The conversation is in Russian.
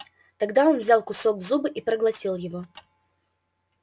тогда он взял кусок в зубы и проглотил его